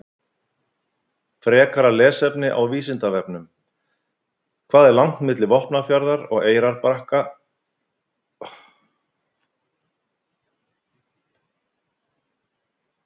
Frekara lesefni á Vísindavefnum: Hvað er langt milli Vopnafjarðar og Eyrarbakka upp á míkrómetra?